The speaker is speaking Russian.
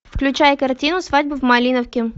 включай картину свадьба в малиновке